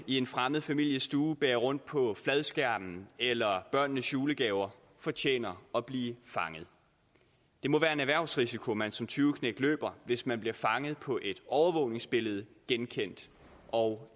i en fremmed families stue bærer rundt på fladskærmen eller børnenes julegaver fortjener at blive fanget det må være en erhvervsrisiko man som tyveknægt løber hvis man bliver fanget på et overvågningsbillede genkendt og